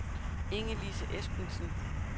Inge-Lise Espensen